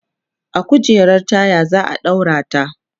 a kujerar taya zaa ɗaura ta